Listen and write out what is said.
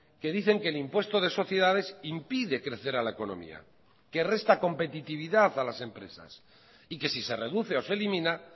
que dicen que el impuesto de sociedades impide crecer a la economía que resta competitividad a las empresas y que si se reduce o se elimina